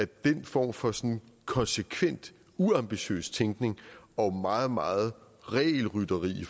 den form for konsekvent uambitiøs tænkning og meget meget regelrytteri i